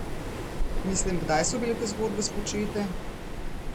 Mislim, kdaj so bile te zgodbe spočete?